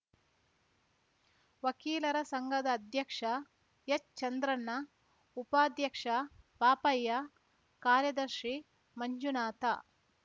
ವಕೀಲರ ಸಂಘದ ಅಧ್ಯಕ್ಷ ಎಚ್‌ ಚಂದ್ರಣ್ಣ ಉಪಾಧ್ಯಕ್ಷ ಪಾಪಯ್ಯ ಕಾರ್ಯದರ್ಶಿ ಮಂಜುನಾಥ